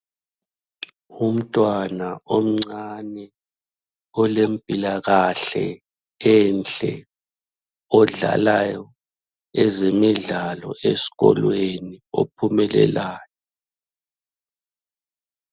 Umntwana omncane olempilakahle enhle odlalayo ezemidlalo esikolweni ophumelelayo.